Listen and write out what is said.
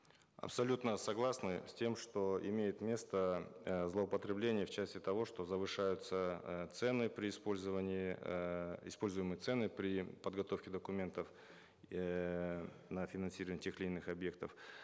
абсолютно согласны с тем что имеет место э злоупотребление в части того что завышаются э цены при использовании э используемые цены при подготовке документов эээ на финансирование тех или иных объектов